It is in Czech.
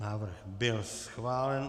Návrh byl schválen.